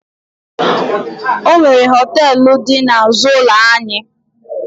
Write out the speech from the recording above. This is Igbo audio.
Ọ nwere họtelụ dị n'azụ ụlọ anyị.